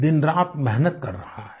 दिनरात मेहनत कर रहा है